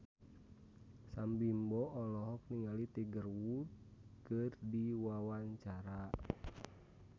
Sam Bimbo olohok ningali Tiger Wood keur diwawancara